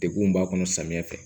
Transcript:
Degun min b'a kɔnɔ samiya fɛ